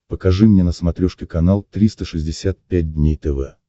покажи мне на смотрешке канал триста шестьдесят пять дней тв